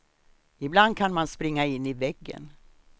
Ibland kan man springa in i väggen.